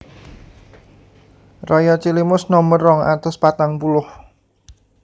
Raya Cilimus Nomer rong atus patang puluh